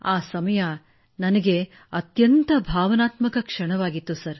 ಆ ಸಮಯ ನನಗೆ ಅತ್ಯಂತ ಭಾವನಾತ್ಮಕ ಕ್ಷಣವಾಗಿತ್ತು